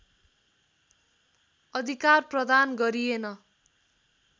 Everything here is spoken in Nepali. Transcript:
अधिकार प्रदान गरिएन